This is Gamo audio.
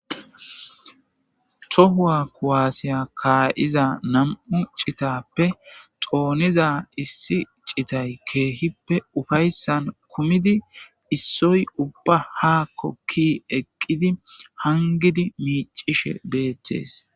tohuwa kuwaasiya kaa7iza nam7u citappe xooniza issi citay keehippe ufayssan kumidi issoy ubba haakkokki eqqidi hangidi miicishe beettees